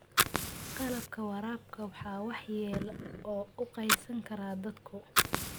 Qalabka waraabka waxaa waxyeello u geysan kara daadku.